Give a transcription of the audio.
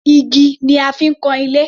Igi ni a fi ń kan ilé.